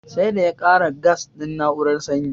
Sai da ya kara gas din na'urar sanyi